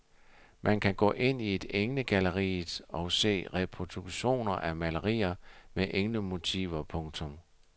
Man kan gå ind i englegalleriet og se reproduktioner af malerier med englemotiver. punktum